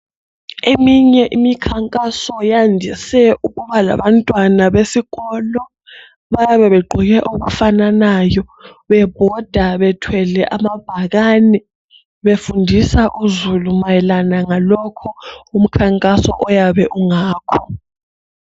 Eminye imikhankaso yandise ukuba labantwana besikolo bayabe begqoke okufananayo bebhoda bethwele amabhakane befundisa uzulu mayelana ngalokho umkhankaso oyabe ungakho.